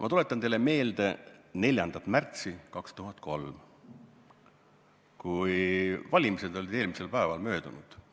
Ma tuletan teile meelde 4. märtsi 2003, kui eelmisel päeval,